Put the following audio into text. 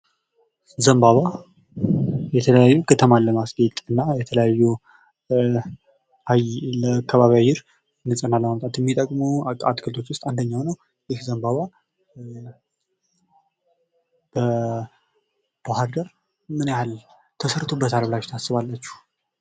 ዘንባባ፦ የተለያዩ ከተማን ለማስጌጥ እና የተለያዩ ከባቢ አየር ነጻ ለማድረግ የሚጠቅሙ አትክልቶች ውስጥ አንደኛው ነው። ይህ ዘንባባ በሃገር ምን ያህል ተሰርቶበታል ብላችሁ ትስባላችሁ?